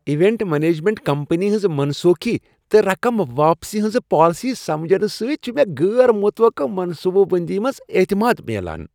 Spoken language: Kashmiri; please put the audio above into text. ایونٹ مینجمنٹ کمپنی ہنٛز منسوخی تہٕ رقم واپسی ہنٛزٕ پالیسیہٕ سمجنہٕ سۭتۍ چھ مےٚ غٲر متوقع منصوبہٕ بٔنٛدی منٛز اعتماد میٛلان۔